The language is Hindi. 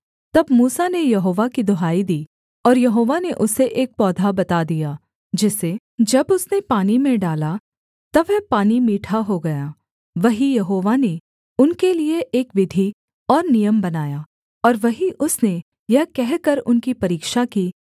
तब मूसा ने यहोवा की दुहाई दी और यहोवा ने उसे एक पौधा बता दिया जिसे जब उसने पानी में डाला तब वह पानी मीठा हो गया वहीं यहोवा ने उनके लिये एक विधि और नियम बनाया और वहीं उसने यह कहकर उनकी परीक्षा की